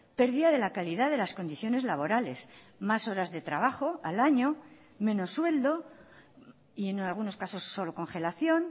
pérdida de la calidad de las condiciones laborales más horas de trabajo al año menos sueldo y en algunos casos solo congelación